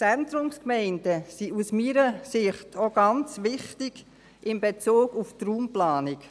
Zentrumsgemeinden sind aus meiner Sicht auch ganz wichtig in Bezug auf die Raumplanung.